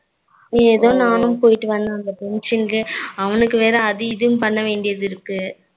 எதோ நானும் போயிட்டு வந்து function க்கு அவனுக்கு வேற அது இதுன்னு பண்ண வேண்டியாது இருக்கு